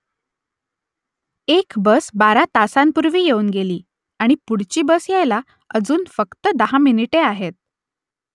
एक बस बारा तासांपूर्वी येऊन गेली आणि पुढची बस यायला अजून फक्त दहा मिनिटे आहेत